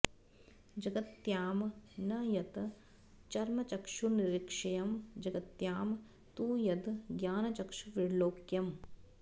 जगत्यां न यत् चर्मचक्षुर्निरीक्ष्यं जगत्यां तु यद् ज्ञानचक्षुर्विलोक्यम्